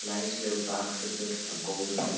Glæsilegur baksvipur að góðu kunnur.